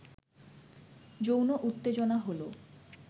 যৌন উত্তেজনা হলো